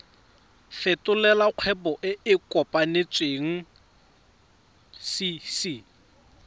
fetolela kgwebo e e kopetswengcc